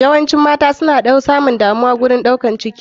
Yawaci mata suna samun damuwa wurin ɗaukar ciki.